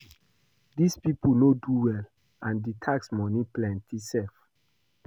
Dis people no do well and the tax money plenty sef.